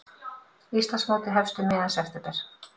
Íslandsmótið hefst um miðjan september